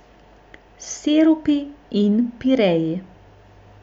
Sirupi in pireji.